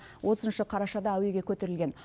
отызыншы қарашада әуеге көтерілген